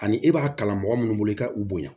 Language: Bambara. Ani e b'a kalan mɔgɔ minnu bolo i ka u bonya